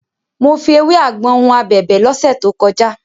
Mo fi ewé àgbọn hun abẹ̀bẹ̀ lọ́sẹ̀ tó kọjá.